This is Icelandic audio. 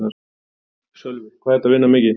Sölvi: Hvað ertu að vinna mikið?